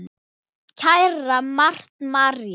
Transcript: Kæra Marta María.